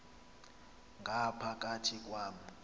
ngapha kathi kwam